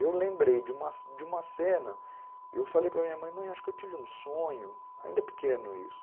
E eu lembrei de uma de uma cena, eu falei para minha mãe, mãe, acho que eu tive um sonho, ainda pequeno isso,